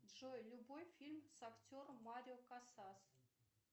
джой любой фильм с актером марио касас